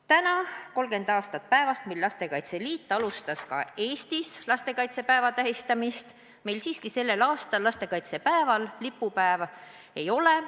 Täna, mil täitub 30 aastat päevast, mil lastekaitseliit alustas ka Eestis lastekaitsepäeva tähistamist, meil siiski lipupäeva ei ole.